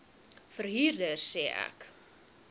verhuurder sê ek